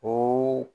O